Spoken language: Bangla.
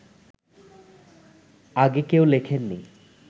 আগে কেউ লেখেননি